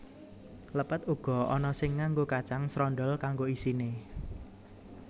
Lepet uga ana sing nganggo kacang srondhol kanggo isine